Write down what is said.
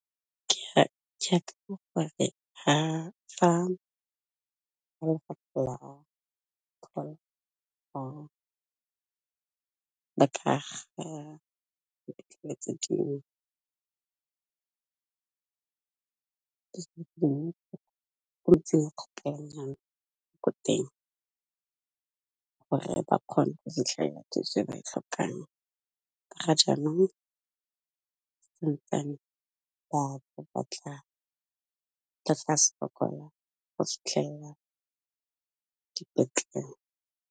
Ke ya check-a gore fa ko teng gore ba kgone go fitlhela ya thuso e ba e tlhokang ka ga jaanong, ba batla ba ska sokola go dipetlele.